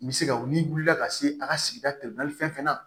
N bɛ se ka wuli n'i wulila ka se a ka sigida fɛn fɛn na